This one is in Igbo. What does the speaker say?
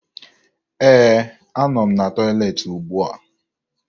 Ee, anọ m na tọyịleetị ugbua